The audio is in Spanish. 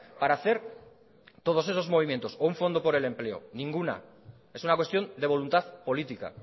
para hacer todos esos movimientos o un fondo por el empleo ninguna es una cuestión de voluntad política